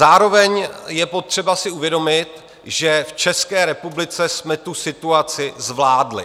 Zároveň je potřeba si uvědomit, že v České republice jsme tu situaci zvládli.